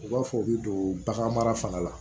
U b'a fɔ u bɛ don bagan mara fanga la